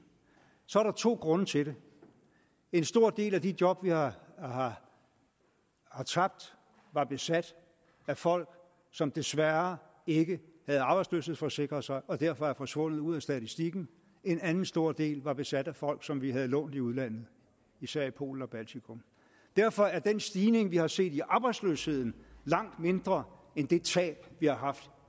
så er der to grunde til det en stor del af de job vi har har tabt var besat med folk som desværre ikke havde arbejdsløshedsforsikret sig og derfor er forsvundet ud af statistikken en anden stor del var besat med folk som vi havde lånt i udlandet især i polen og baltikum derfor er den stigning vi har set i arbejdsløsheden langt mindre end det tab vi har haft